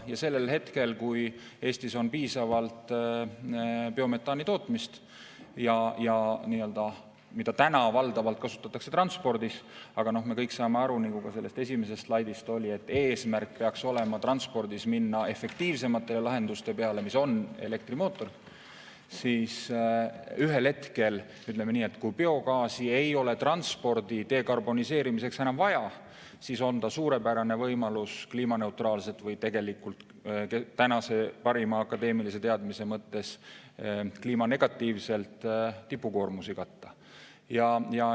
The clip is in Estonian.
Ja siis, kui Eestis toodetakse piisavalt biometaani, mida praegu valdavalt kasutatakse transpordis – aga me kõik saame aru, nagu ka sellel esimesel slaidil oli, et eesmärk peaks olema transpordis minna efektiivsemate lahenduste peale, mis on elektrimootor –, siis ühel hetkel, kui biogaasi ei ole transpordi dekarboniseerimiseks enam vaja, on ta suurepärane võimalus kliimaneutraalselt – või tegelikult tänase parima akadeemilise teadmise mõttes kliimanegatiivselt – tipukoormusi katta.